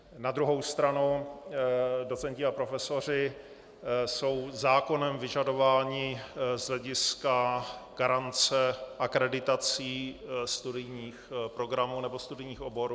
Na druhou stranu docenti a profesoři jsou zákonem vyžadováni z hlediska garance akreditací studijních programů nebo studijních oborů.